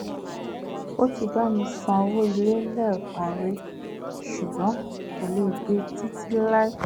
ó ti bá mi san owó ilé lẹ́ẹ̀kan rí ṣùgbọ́n kò lè gbe títí láí